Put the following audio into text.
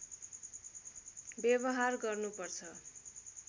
व्यवहार गर्नु पर्छ